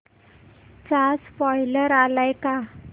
चा स्पोईलर आलाय का